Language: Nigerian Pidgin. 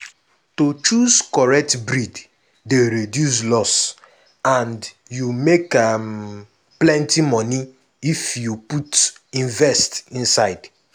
to choose correct breed dey reduce loss and you make um plenty money if you put invest inside.